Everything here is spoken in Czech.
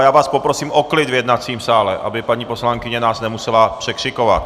A já vás poprosím o klid v jednacím sále, aby paní poslankyně nás nemusela překřikovat!